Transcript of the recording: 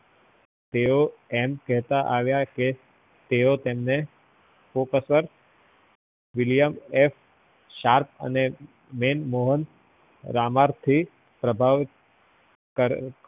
તેઓ એમ કેતા આવ્યા કે તેઓ તેમને professor william એ sharp અને રમાંરથી પ્રભાવિત